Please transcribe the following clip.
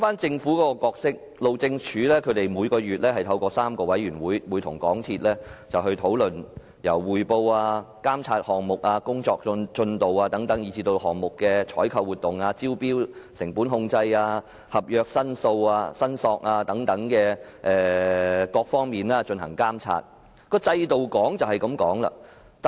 政府的角色方面，路政署每月透過3個委員會，監察港鐵公司的工作，檢討項目進度，並對項目的採購活動、招標後的成本控制、有關合約申索的處理進行監察。